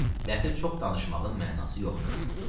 Dəxi çox danışmağın mənası yoxdur.